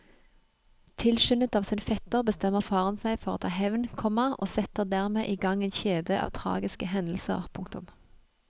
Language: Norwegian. Tilskyndet av sin fetter bestemmer faren seg for å ta hevn, komma og setter dermed i gang en kjede av tragiske hendelser. punktum